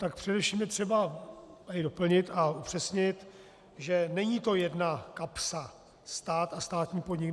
Tak především je třeba tady doplnit a upřesnit, že není to jedna kapsa - stát a státní podnik.